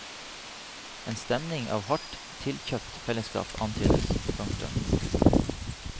En stemning av hardt tilkjøpt fellesskap antydes. punktum